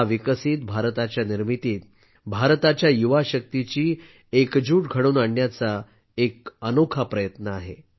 हा विकसित भारताच्या निर्मितीत भारताच्या युवाशक्तीची एकजूट घडवून आणण्याचा एक अनोखा प्रयत्न आहे